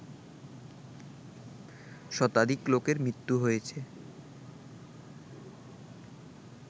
শতাধিক লোকের মৃত্যু হয়েছে